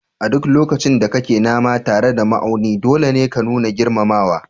A duk lokacin da kake nama tare da ma'auni, dole ne ka nuna girmamawa